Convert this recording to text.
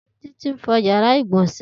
Titi n fọ iyàrá igbọnsẹ̀